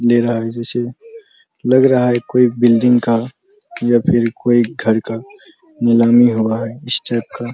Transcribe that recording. दे रहा हैजैसे लग रहा है कोई बिल्डिंग का या फिर कोई घर का नीलामी हो रहा है इस टाइप का --